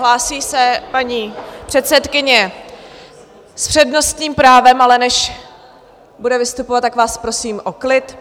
Hlásí se paní předsedkyně s přednostním právem, ale než bude vystupovat, tak vás prosím o klid.